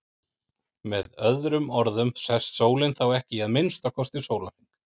Með öðrum orðum sest sólin þá ekki í að minnsta kosti sólarhring.